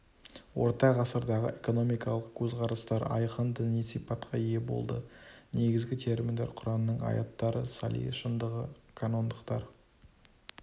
орта ғасырдағы экономикалық көзқарастар айқын діни сипатқа ие болды негізгі терминдер құранның аяттары сали шындығы канондықтар